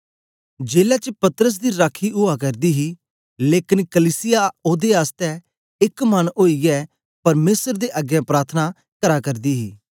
जेलै च पतरस दी राखी उआ करदी ही लेकन कलीसिया ओदे आसतै एक मन ओईयै परमेसर दे अगें प्रार्थना करा करदी ही